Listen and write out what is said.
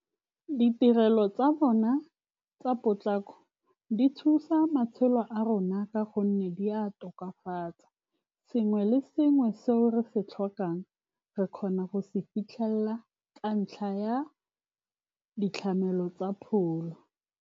Ditirelo tsa bona tsa potlako di thusa matshelo a rona, ka gonne di a tokafatsa sengwe le sengwe se re se tlhokang, re kgona go se fitlhelela ka ntlha ya ditlamelo tsa pholo.